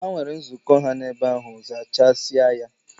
Ha nwere nzukọ ha n'ebe ahụ, zachasịa ya!